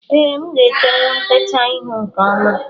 Ee, nga etewu ntecha ihu nke ọma